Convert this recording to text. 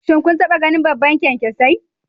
Shin kun taba ganin babban kyankyasai?